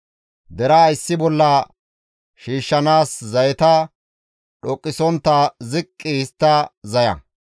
Deraa issi bolla shiishshanaas zayeta dhoqqisontta ziqqi histta zaya.